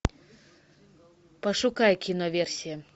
пошукай киноверсия